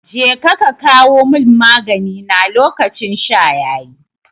Jeka ka kawo mun magani na lokacin sha yayi